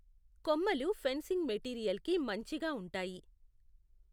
కొమ్మలు ఫెన్సింగ్ మెటీరియల్కి మంచిగా ఉంటాయి.